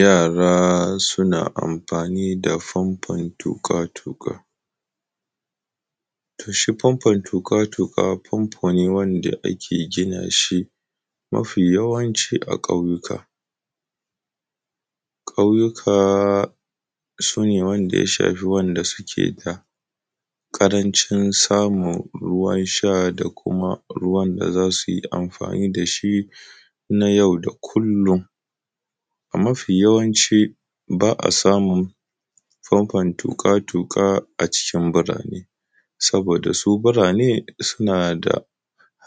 Yara suna amfani da famfon tuƙa-tuƙa. To shi famfon tuƙa-tuƙa famfo ne wanda ake gina shi mafi yawanci a ƙauyuka. Ƙauyuka su ne wanda ya shafi wanda suke da ƙaranci samun ruwan sha da kuma ruwan da za su yi amfani da shi na yau da kullum. Mafi yawanci ba a samun famfon tuƙa-tuƙa a cikin birane, saboda su birane suna da